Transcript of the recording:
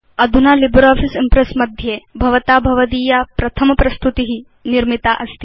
अधुना LibreOffice Impress मध्ये भवता भवदीयं प्रथम प्रस्तुति निर्मितास्ति